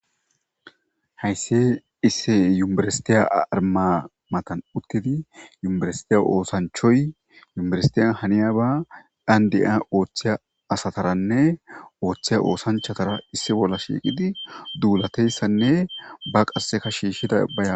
Hayssi isse yuerestiya armamatan uttidi yumerestiya oosanchoy yumrestiya haniyaba dhandi7a ooththiya asataranne ooththeya oosanchatara issi bolla shiiqidi duulateyssanne ba qasseka shiishida bayaa;